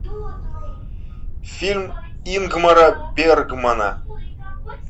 фильм ингмара бергмана